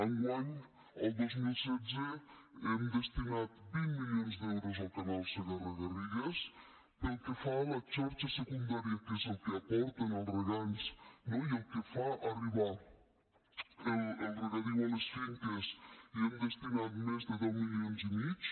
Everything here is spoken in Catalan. enguany el dos mil setze hem destinat vint milions d’euros al canal segarra garrigues pel que fa a la xarxa secundària que és el que aporten els regants no i el que fa arribar el regadiu a les finques hi hem destinat més de deu milions i mig